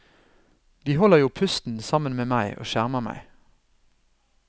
De holder jo pusten sammen med meg og skjermer meg.